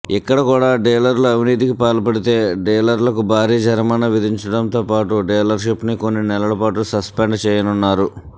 ఇక్కడ కూడా డీలర్లు అవినీతికి పాల్పడితే డీలర్లకు భారీ జరిమానా విధించడంతో పాటు డీలర్షిప్ను కొన్ని నెలలపాటు సస్పెండ్ చేయనున్నారు